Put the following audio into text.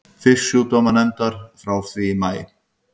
Fisksjúkdómanefndar frá því í maí.